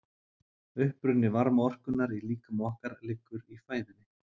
Uppruni varmaorkunnar í líkama okkar liggur í fæðunni.